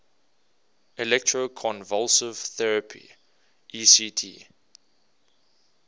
electroconvulsive therapy ect